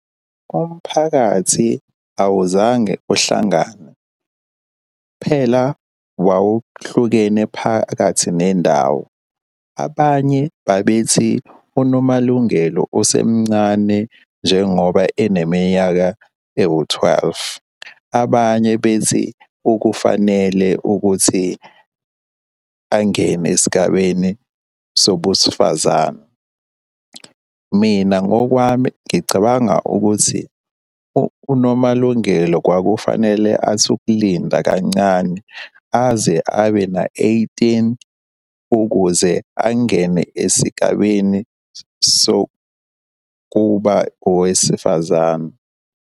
Umphakathi awuzange uhlangane, kuphela wawuhlukene phakathi nendawo. Abanye babethi uNomalungelo usemncane njengoba eneminyaka ewu-twelve. Abanye bethi ukufanele ukuthi angene esigabeni sobusifazane. Mina ngokwami ngicabanga ukuthi uNomalungelo kwakufanele athi ukulinda kancane aze abe na-eighteen ukuze angene esigabeni sokuba owesifazane.